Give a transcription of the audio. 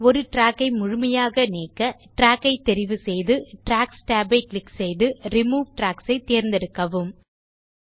ஒரு ட்ராக் ஐ முழுமையாக நீக்க ட்ராக் ஐ தெரிவு செய்து ட்ராக்ஸ் tab ஐ க்ளிக் செய்து ரிமூவ் ட்ராக்ஸ் ஐத் தேர்ந்தெடுக்கவும்